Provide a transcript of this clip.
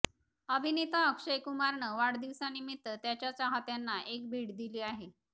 अभिनेता अक्षयकुमारनं वाढदिवसानिमित्त त्याच्या चाहत्यांना एक भेट दिली आहे